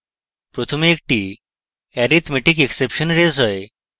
প্রথমে একটি arithmeticexception raise হয়